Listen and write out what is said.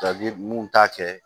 mun t'a kɛ